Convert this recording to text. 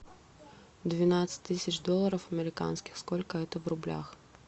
двенадцать тысяч долларов американских сколько это в рублях